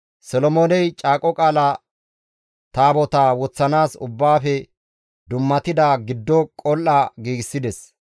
Solomooney Caaqo Taabotaa woththanaas Ubbaafe dummatida giddo qol7a giigsides.